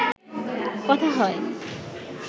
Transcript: কথা হয়